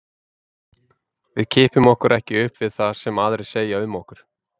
Við kippum okkur ekki upp við það sem aðrir segja um okkur.